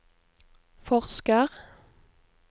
forsker